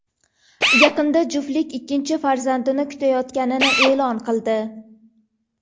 Yaqinda juftlik ikkinchi farzandini kutayotganini e’lon qildi .